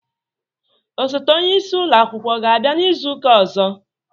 Osote onye isi ulo akwụkwọ ọ ga abia n'izuka ọzọ?